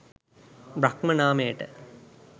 බ්‍රහ්ම නාමයට